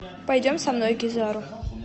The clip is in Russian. пойдем со мной кизару